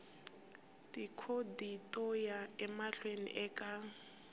tikhodi to ya emahlweni eka